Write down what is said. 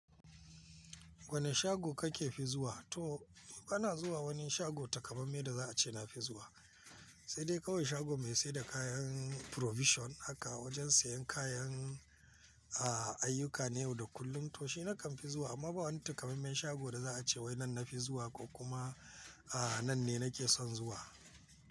Wani shago kake fi zuwa? To bana zuwa wani shago takamaime da za a ce na fi zuwa, sai dai kawai shago mai siyar da kayan provision aka wajen siyan kayan, ayyuka na yau da kullum to shi na kan fi zuwa amma ba wani takamaimen shago da za a ce wai nan na fi zuwa ko kuma, a, nan ne nake son zuwa.